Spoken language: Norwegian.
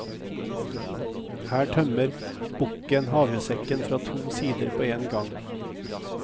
Her tømmer bukken havresekken fra to sider på én gang.